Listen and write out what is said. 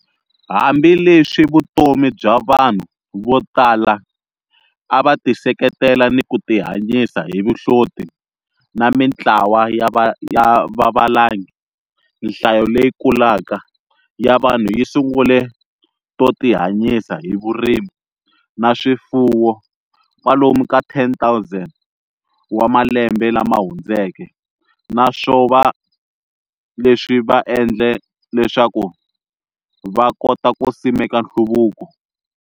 Hambi leswi vutomi bya vanhu vo tala a va tiseketela ni ku tihanyisa hi vuhloti na mintlawa ya vavalangi, nhlayo leyikulaka ya vanhu yi sungule to tihanyisa hi Vurimi na Swifuwo, kwalomu ka 10,000 wa malembe lamahundzeke, naswova leswi va endle leswaku va kota ku simeka nhluvuko.